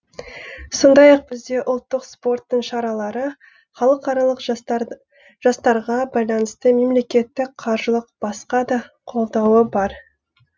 сондай ақ бізде ұлттық спорттың шаралары халықаралық жастарға байланысты мемлекеттің қаржылық басқа да қолдауы бар